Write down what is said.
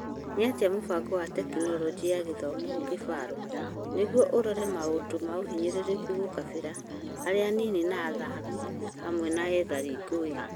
Nĩatĩ mũbango Tekinoronjĩ ya Githomo ũngĩbarwo nĩguo ũrore maũndũ ma ũhinyĩrĩrĩku gĩkabira, arĩa anini na athami, hamwe na ethari ngũĩ ?